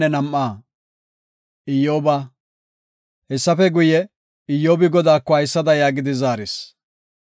Hessafe guye, Iyyobi Godaako haysada yaagidi zaaris;